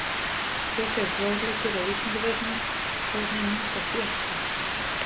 Frekari fróðleikur á Vísindavefnum: Hvernig myndast jöklar?